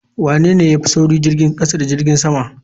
Wanene ya fi sauri jirgin kasa ko jirgin sama?